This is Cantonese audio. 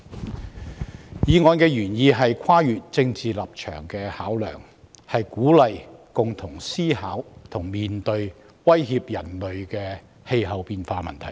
本議案原意是跨越政治立場的考量，鼓勵共同思考和面對威脅人類的氣候變化問題。